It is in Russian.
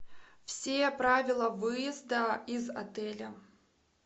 все правила выезда из отеля